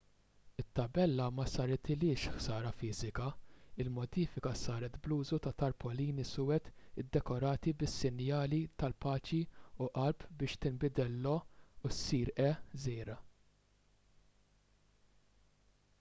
it-tabella ma saritilhiex ħsara fiżika; il-modifika saret bl-użu ta' tarpolini suwed iddekorati bis-sinjali tal-paċi u qalb biex tinbidel l-"o u issir e żgħira